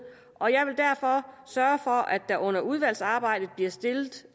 og jeg vil derfor sørge for at der under udvalgsarbejdet bliver stillet